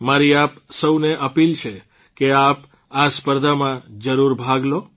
મારી આપ સૌને અપીલ છે કે આપ આ સ્પર્ધામાં જરૂર ભાગ લો